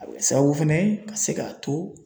A bɛ sababu fɛnɛ ye ka se k'a to